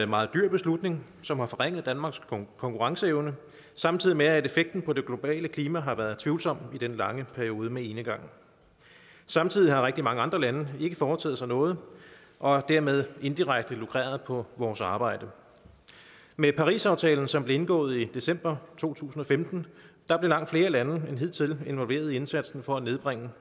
meget dyr beslutning som har forringet danmarks konkurrenceevne samtidig med at effekten på det globale klima har været tvivlsom i den lange periode med enegang samtidig har rigtig mange andre lande ikke foretaget sig noget og dermed inddirekte lukreret på vores arbejde med parisaftalen som blev indgået i december to tusind og femten blev langt flere lande end hidtil involveret i indsatsen for at nedbringe